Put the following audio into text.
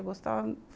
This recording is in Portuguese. Eu gostava.